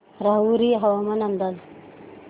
राहुरी हवामान अंदाज